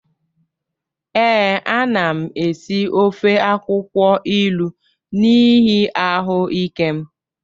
Ee, ana m esi ofe akwụkwọ ilu n'ihi ahụ ike m